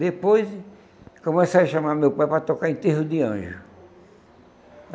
Depois comecei a chamar meu pai para tocar em enterro de anjo.